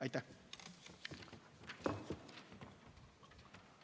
Aitäh!